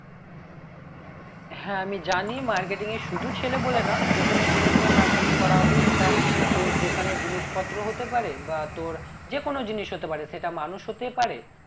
হ্যাঁ আমি জানি marketing এর শুধু ছেলে বলে না যে কোনো জিনিস নিয়ে marketing করা হবে সেটা তোর দোকানের জিনিস পত্র হতে পারে বা তোর যে কোনো জিনিস হতে পারে সেটা মানুষ হতে পারে